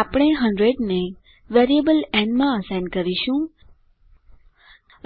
આપણે 100 ને variable n માં અસાઇન કરીશું